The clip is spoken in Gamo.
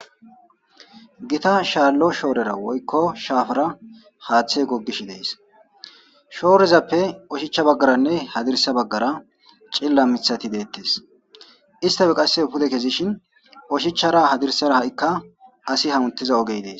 Gita shaallo shoorera woykko shaafara haaththe gogish dees shoorezappe oshicha baggaranne hadirsa baggara cilla mithati deettes istafe qasse pude kezishin ushichara hadirsara ha7ikka asi hamutiza ogey dees.